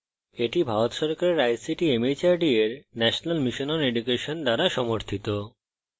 এটি ভারত সরকারের ict mhrd এর national mission on education দ্বারা সমর্থিত